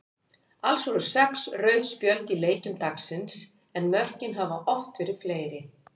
Alls voru sex rauð spjöld í leikjum dagsins en mörkin hafa oft verið fleiri.